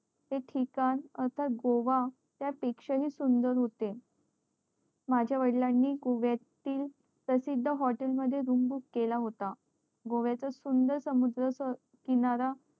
ते ठिकाण गोवा पेक्षा हि सुंदर होते माझ्या वडिलांनी गोव्यातील प्रसिद्द hotel मध्ये room book केला होता गोव्याचा सुंदर समुद्रा चा किनारा